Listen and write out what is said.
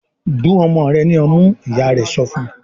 "Gun ọmọ rẹ̀ ní ọmú!" Ìyá rẹ̀ sọ fún.